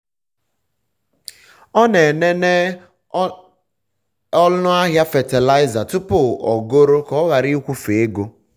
ọ na-elele ọnụ ahịa fatịlaịza tupu ogoro ya ka ọ ghara ịkwụfe ego